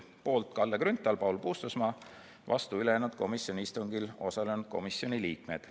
Poolt olid Kalle Grünthal ja Paul Puustusmaa, vastu ülejäänud komisjoni istungil osalenud komisjoni liikmed.